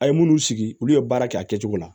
A ye minnu sigi olu ye baara kɛ a kɛcogo la